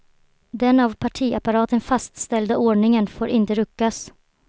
Den av partiapparaten fastställda ordningen får inte ruckas.